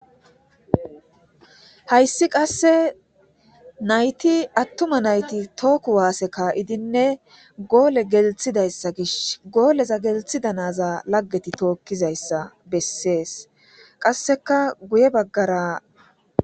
hayssi qasse nayti attuma nayti tooku waaseka idinne goole gelthidayssa gish gooleza gelthida naza laggeti tookkizayssa bessees qasseka guye baggara.